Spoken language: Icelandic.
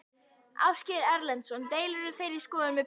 Ásgeir Erlendsson: Deilirðu þeirri skoðun með Pírötum?